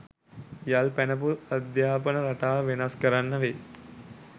යල් පැනපු අධ්‍යාපන රටාව වෙනස් කරන්න වෙයි.